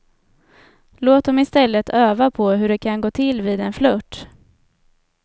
Låt dem i stället öva på hur det kan gå till vid en flirt.